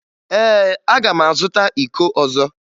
Ee, aga m azụta iko ọzọ